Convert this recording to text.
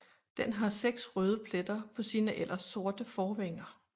Den har seks røde pletter på sine ellers sorte forvinger